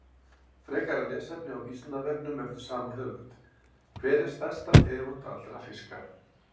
Frekara lesefni á Vísindavefnum eftir sama höfund: Hver er stærsta tegund allra fiska?